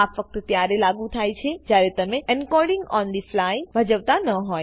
આ ફક્ત ત્યારે લાગુ થાય છે જયારે તમે એન્કોડિંગ ઓન થે ફ્લાય ભજવતા ન હો